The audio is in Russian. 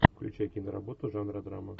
включай киноработу жанра драма